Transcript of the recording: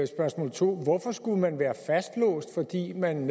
spørgsmål to er hvorfor skulle man være fastlåst fordi man